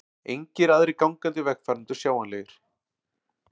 Engir aðrir gangandi vegfarendur sjáanlegir.